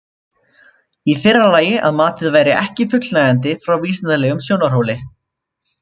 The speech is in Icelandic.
Í fyrra lagi að matið væri ekki fullnægjandi frá vísindalegum sjónarhóli.